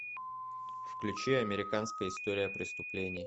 включи американская история преступлений